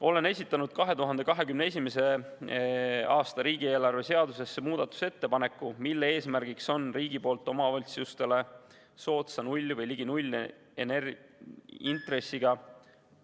Olen esitanud 2021. aasta riigieelarve seaduse kohta muudatusettepaneku, mille eesmärk on riigi poolt omavalitsustele soodsa null‑ või ligi nullintressiga ...